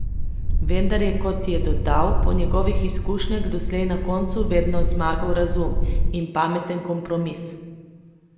Vendar je, kot je dodal, po njegovih izkušnjah doslej na koncu vedno zmagal razum in pameten kompromis.